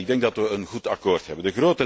Ik denk dat we een goed akkoord hebben.